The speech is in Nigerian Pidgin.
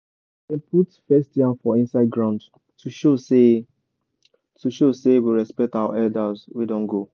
dem put first yam for inside ground to show say to show say we respect our elders wey don go